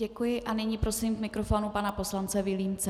Děkuji a nyní prosím k mikrofonu pana poslance Vilímce.